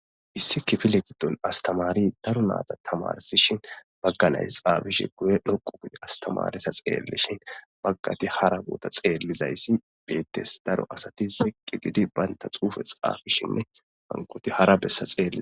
Issi kifile giddon astamari daro naata tamarsishin bagganays xaabishi guye dhoqu guye astamaresa xeellishin baggati hara goota xeellizayssi beettes daro asati ziqqi gidi baynta xuufe xaafishinne hankoti hara bessa xeelie.